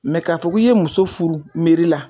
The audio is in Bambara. Mɛ k'a fɔ k'i ye muso furu meri la